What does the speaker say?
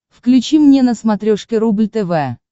включи мне на смотрешке рубль тв